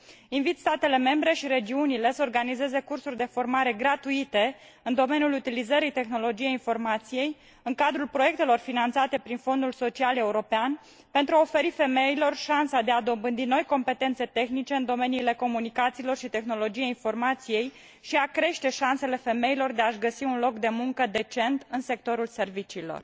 Invit statele membre și regiunile să organizeze cursuri de formare gratuite în domeniul utilizării tehnologiei informației, în cadrul proiectelor finanțate prin Fondul social european, pentru a oferi femeilor șansa de a dobândi noi competențe tehnice în domeniile comunicațiilor și tehnologiei informației și pentru a crește șansele femeilor de a și găsi un loc de muncă decent în sectorul serviciilor.